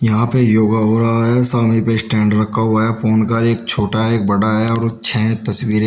यहां पे योगा हो रहा है सामने पे स्टैंड रखा हुआ है फोन का एक छोटा एक बड़ा है और छह तस्वीरे--